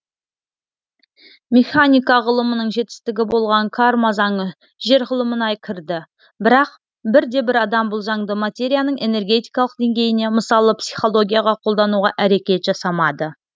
механика ғылымының жетістігі болған карма заңы жер ғылымына кірді бірақ бірде бір адам бұл заңды материяның энергетикалық деңгейіне мысалы психологияға қолдануға әрекет жасамады